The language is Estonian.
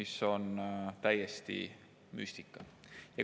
See on täiesti müstika.